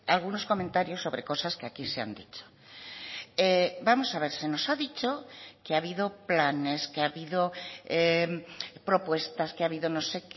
algunos comentarios sobre cosas que aquí se han dicho vamos a ver se nos ha dicho que ha habido planes que ha habido propuestas que ha habido no sé